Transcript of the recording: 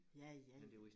Ja ja ja